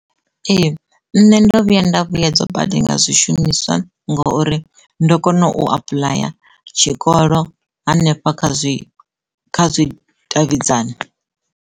Ee nṋe ndo vhuya nda vhuyedzwa badi nga zwishumiswa ngouri ndo kona u apuḽaya tshikolo hanefha kha zwi, kha zwi davhidzani.